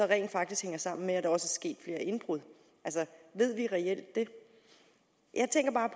rent faktisk hænger sammen med at der også er sket flere indbrud altså ved vi reelt det jeg tænker bare